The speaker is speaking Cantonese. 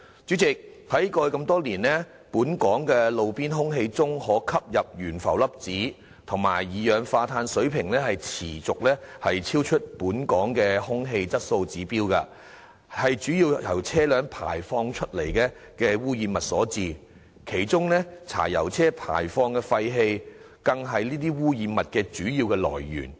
主席，過去多年來，本港路邊空氣中的可吸入懸浮粒子及二氧化氮水平持續超出本港的空氣質素指標，這主要是由車輛排放的污染物所致，其中柴油車輛排放的廢氣更是這些污染物的主要來源。